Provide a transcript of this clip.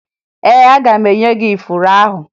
Ee, aga m enye gị ifuru ahụ